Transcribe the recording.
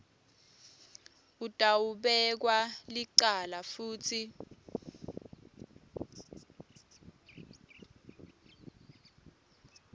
utawubekwa licala futsi